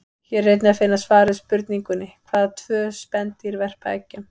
Hér er einnig að finna svar við spurningunni: Hvaða tvö spendýr verpa eggjum?